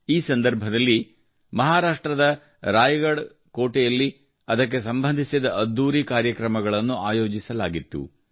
ಈ ಸಂದರ್ಭದಲ್ಲಿ ಮಹಾರಾಷ್ಟ್ರದ ರಾಯಗಡ ಕೋಟೆಯಲ್ಲಿ ಅದಕ್ಕೆ ಸಂಬಂಧಿಸಿದ ಅದ್ಧೂರಿ ಕಾರ್ಯಕ್ರಮಗಳನ್ನು ಆಯೋಜಿಸಲಾಗಿತ್ತು